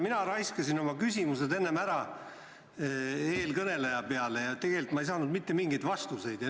Mina raiskasin oma küsimused ära eelkõneleja peale, aga tegelikult ei saanud mitte mingeid vastuseid.